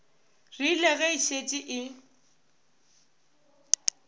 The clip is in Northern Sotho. rile ge e šetše e